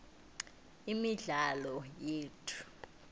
imidlalo yethu